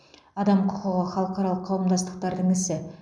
адам құқығы халықаралық қауымдастықтардың ісі